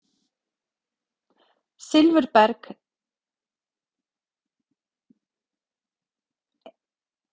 Silfurberg: einstæð saga kristallanna frá Helgustöðum.